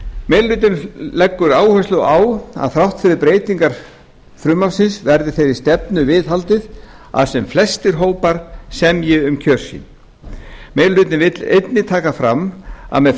meiri hlutinn leggur áherslu á að þrátt fyrir breytingar frumvarpsins verði þeirri stefnu viðhaldið að sem flestir hópar semji um kjör sín meiri hlutinn vill einnig taka fram að með